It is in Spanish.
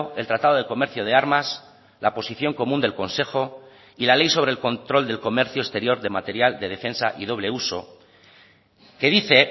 el tratado de comercio de armas la posición común del consejo y la ley sobre el control del comercio exterior de material de defensa y doble uso que dice